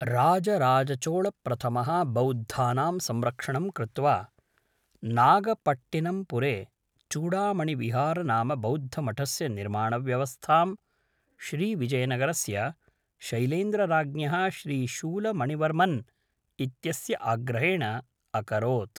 राजराजचोळप्रथमः बौद्धानां संरक्षणं कृत्वा, नागपट्टिनम्पुरे चूडामणिविहार नाम बौद्धमठस्य निर्माणव्यवस्थां, श्रीविजयनगरस्य शैलेन्द्रराज्ञः श्रीशूलमणिवर्मन् इत्यस्य आग्रहेण अकरोत्।